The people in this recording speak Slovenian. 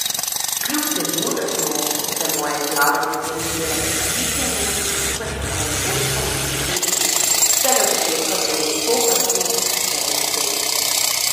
Kljub temu, da so se moje izjave nekaterim zdele prenapihnjene, smo skupaj s strokovnim vodstvom in dekleti že od vsega začetka verjeli v to, kar smo včeraj dosegli.